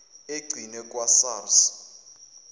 egcinwe kwa sars